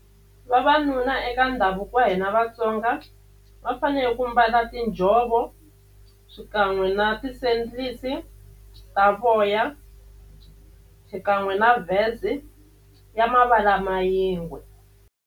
Vavanuna eka ndhavuko wa hina Vatsonga va fanele ku mbala tinjhovo xikan'we na ta voya xikan'we na vest ya mavala ma yingwe.